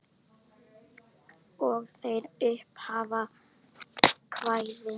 Og er þetta upphaf kvæðis: